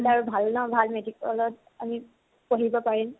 ভাল ন, ভাল medical ত আমি পঢ়িব পাৰিম ।